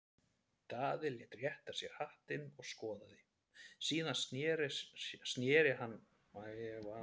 Daði lét rétta sér hattinn og skoðaði, síðan sneri hann Markúsar-Brún frá.